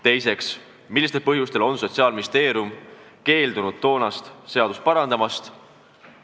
Teiseks, millistel põhjustel on Sotsiaalministeerium keeldunud toonast seadust parandamast?